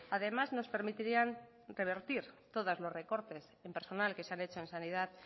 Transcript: además nos permitiría revertir todos los recortes en personal que se han hecho en sanidad